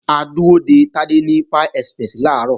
A dúró de Tádé ní Pie Express làárọ̀